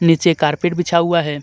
नीचे कारपेट बिछा हुआ है.